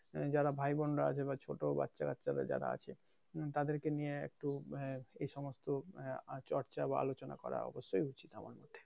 হ্যাঁ যারা ভাই বোনরা আছে বা ছোট বাচ্চা কাচ্চারা যারা আছে হুম তাদের কে নিয়ে একটু এই সমস্ত আহ চর্চা বা আলোচনা করা অবশ্যই উচিত আমার মতে